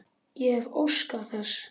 Ég hefði óskað þess.